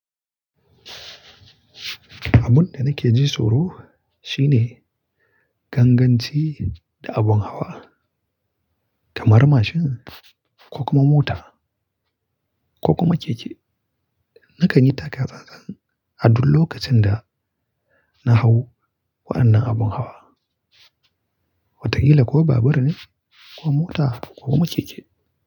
Abun da nake ji tsoro shine ganganci da abun hawa, kamar mashin ko kuma mota ko kuma keke. Nakan yi taka tsatsan a duk lokacin da na hau waɗannan abun hawa, watakila ko babur ne ko mota ko kuma keke.